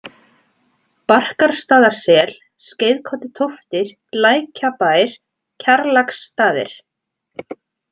Barkarstaðasel, Skeiðkollutóftir, Lækjabær, Kjarlaksstaðir